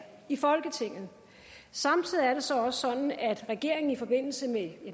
i folketinget samtidig er det så også sådan at regeringen i forbindelse med